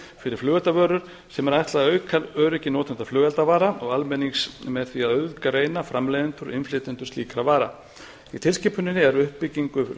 fyrir flugeldavörur sem er ætlað að auka öryggi notenda flugeldavara og almennings með því að auðgreina framleiðendur og innflytjendur slíkra vara í tilskipuninni er uppbyggingu